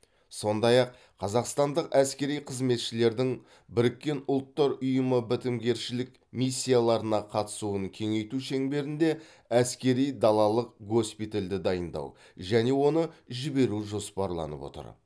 сондай ақ қазақстандық әскери қызметшілердің біріккен ұлттар ұйымы бітімгершілік миссияларына қатысуын кеңейту шеңберінде әскери далалық госпитальді дайындау және оны жіберу жоспарланып отыр